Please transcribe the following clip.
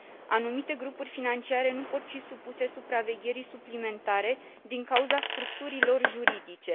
Anumite grupuri financiare nu pot fi supuse supravegherii suplimentare din cauza structurii lor juridice.